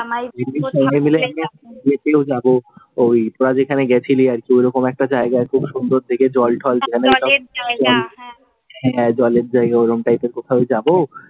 যাব, তোরা যেখানে গিয়েছিলি ওই রকম একটা জায়গায়, খুব সুন্দর দেখে জল ঠল হ্যাঁ, জলের জায়গা, ওইরম type এর কোথাও যাবো।